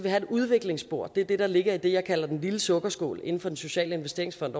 have et udviklingsspor det er det der ligger i det jeg kalder den lille sukkerskål inden for den sociale investeringsfond